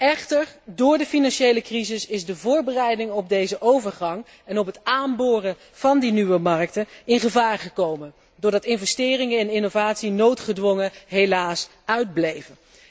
Echter, door de financiële crisis is de voorbereiding op deze overgang en op het aanboren van die nieuwe markten in gevaar gekomen doordat helaas investeringen en innovatie noodgedwongen uitbleven.